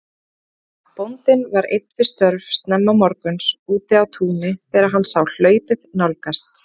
Bóndinn var einn við störf snemma morguns úti á túni þegar hann sá hlaupið nálgast.